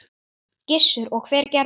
Gissur: Og hver gerði það?